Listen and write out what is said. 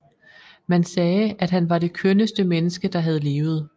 Man sagde at han var det kønneste menneske der havde levet